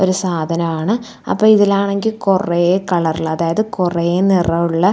ഒരു സാധനാണ് അപ്പൊ ഇതിലാണെങ്കിൽ കൊറേ കളറിൽ അതായത് കൊറേ നിറമുള്ള--